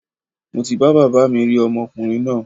Mo ti bá baba mi rí ọmọkùrin náà